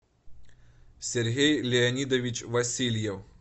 сергей леонидович васильев